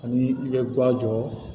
Ani i bɛ guwan jɔ